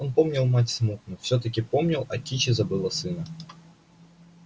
он помнил мать смутно всё таки помнил а кичи забыла сына